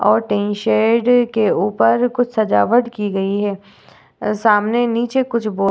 और tin shed के उपर कुछ सजावट की गई है। सामने नीचे कुछ बोर्ड --